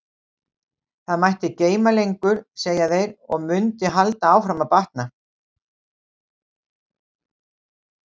Það mætti geyma lengur, segja þeir, og mundi halda áfram að batna.